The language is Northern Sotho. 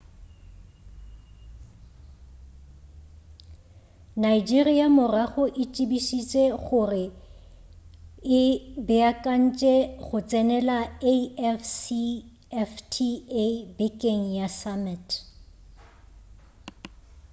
nigeria morago e tsebišitše gore e beakantše go tsenela afcfta bekeng ya go summit